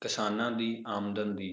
ਕਿਸਾਨਾਂ ਦੀ ਆਮਦਨ ਦੀ